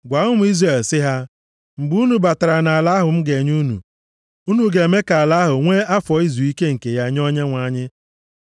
“Gwa ụmụ Izrel sị ha, ‘Mgbe unu batara nʼala ahụ m ga-enye unu, unu ga-eme ka ala ahụ nwee afọ izuike nke ya nye Onyenwe anyị.